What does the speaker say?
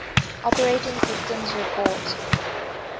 operating systems report